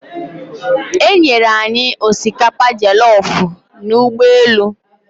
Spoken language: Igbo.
E nyere anyị osikapa jollofu n'ụgbọelu.